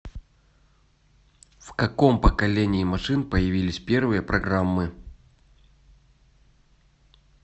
в каком поколении машин появились первые программы